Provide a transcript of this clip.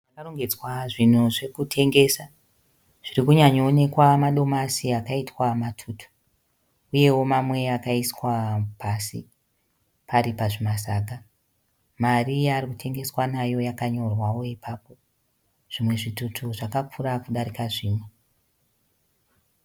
Pakarongedzwa zvinhu zvokutengesa. Zviri kunyanyaonekwa madomasi akaitwa matutu uyewo mamwe akaiswa pasi pari pazvimasaga. Mari yaari kutengeswa nayo yakanyorwawo ipapo. Zvimwe zvitutu zvakakura kudarika zvimwe.